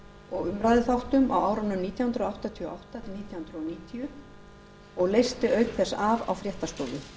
og umræðuþáttum á árunum nítján hundruð áttatíu og átta til nítján hundruð níutíu og leysti auk þess af á fréttastofu